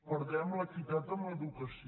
perdem l’equitat en l’educació